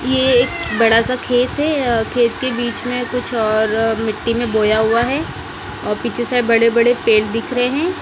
ये एक बड़ा सा खेत है खेत के बीच में कुछ और मिट्टी में बोया हुआ है और पीछे से बड़े-बड़े पेड़ दिख रहे हैं।